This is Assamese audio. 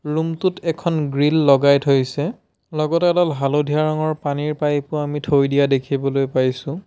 ৰুম টোত এখন গ্ৰিল লগাই থৈছে লগতে এডাল হালধীয়া ৰঙৰ পানীৰ পাইপ ও আমি থৈ দিয়া দেখিবলৈ পাইছোঁ।